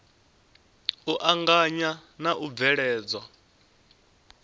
u anganya na u bveledzwa